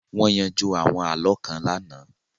Wọ́n yanjú àwọn àlọ́ kan lánàá